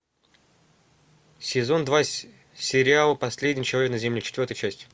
сезон два сериал последний человек на земле четвертая часть